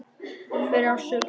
Hver á sökina?